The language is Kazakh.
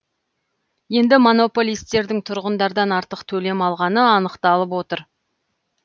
енді монополистердің тұрғындардан артық төлем алғаны анықталып отыр